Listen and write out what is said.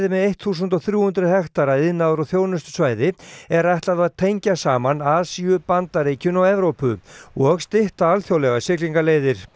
með eitt þúsund og þrjú hundruð hektara iðnaðar og þjónustusvæði er ætlað að tengja saman Asíu Bandaríkin og Evrópu og stytta alþjóðlegar siglingaleiðir